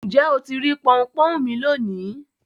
Ǹjẹ́ o tì rí pọnpọ́n mí lọ́ní?